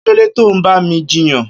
Kilódé tó n bá mi jiyàn